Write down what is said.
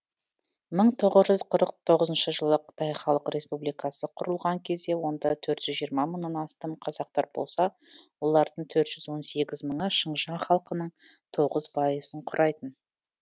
мың тоғыз жүз қырық тоғызыншы жылы қытай халық республикасы құрылған кезде онда төрт жүз жиырма мыңнан астам қазақтар болса олардың төрт жүз он сегіз мыңы шыңжаң халқының тоғыз пайызын құрайтын